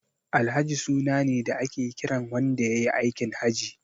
Alhaji suna ne da ake kiran wanda yayi aikin Haji.